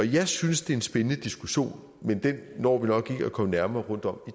jeg synes det er en spændende diskussion men den når vi nok ikke at komme nærmere rundt om